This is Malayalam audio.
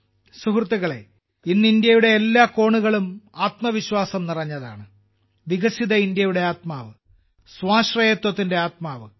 സുഹൃത്തുക്കളേ ഇന്ന് ഇന്ത്യയുടെ എല്ലാ കോണുകളും ആത്മവിശ്വാസം നിറഞ്ഞതാണ് വികസിത ഇന്ത്യയുടെ ആത്മാവ് സ്വാശ്രയത്വത്തിന്റെ ആത്മാവ്